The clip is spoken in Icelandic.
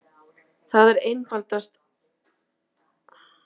Það er einfaldasta svarið við þessari spurningu.